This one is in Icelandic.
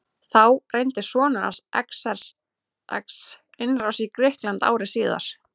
Þá reyndi sonur hans Xerxes innrás í Grikkland ári síðar.